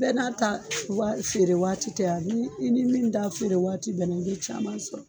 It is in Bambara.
Bɛɛ n'a ta wa feere waati tɛ a, n'i i ni min da feere waati bɛnna i ye caman sɔrɔ.